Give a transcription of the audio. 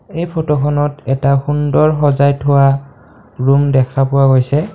এই ফটোখনত এটা সুন্দৰ সজাই থোৱা ৰুম দেখা পোৱা গৈছে।